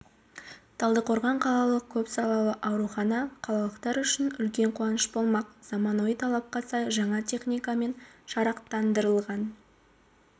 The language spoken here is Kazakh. талдықорған қалалық көп салалы аурухана қалалықтар үшін үлкен қуаныш болмақ заманауи талапқа сай жаңа техникамен жарақтандырылған